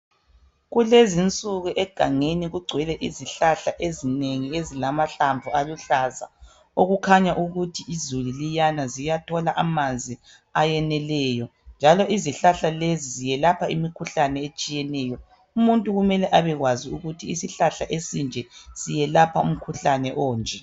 Kulezinsuku egangeni kugcwele izihlahla ezinengi ezilamahlamvu aluhlaza okukhanya ukuthi izulu liyana ziyathola amanzi ayeneleyo njalo izihlahla lezi ziyelapha imikhuhlane etshiyeneyo umuntu kumele abekwazi ukuthi isihlahla esinje siyelapha imikhuhlane onje.